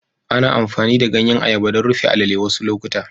Ana amfani da ganyen ayaba don rufe a'lele wasu lokuta.